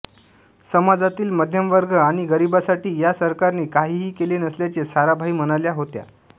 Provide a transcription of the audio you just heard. समाजातील मध्यमवर्ग आणि गरीबांसाठी या सरकारने काहीही केले नसल्याचे साराभाई म्हणाल्या होत्या